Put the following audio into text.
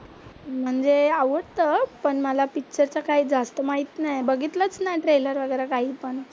म्हणजे आवडतं पण मला पिक्चर चं काही जास्त माहित नाही, बघितलंच नाही ट्रेलर वगैरा काहीपण.